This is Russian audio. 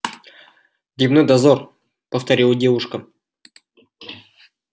дневной дозор повторила девушка